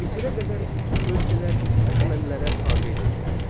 Misrə qədər bütün ölkələr Əhəmənilərə tabe edildi.